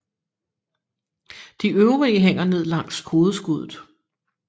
De øvrige hænger ned langs hovedskuddet